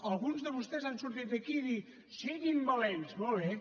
alguns de vostès han sortit aquí a dir siguin valents molt bé